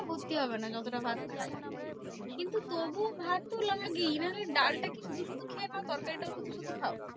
ভর্তি হবে না যতটা ভাত খাই। কিন্তু তবুও ভাতও লাগে নাহলে ডালটা শুধু শুধু খেয়ে নাও তরকারিটাও শুধু শুধু খাও?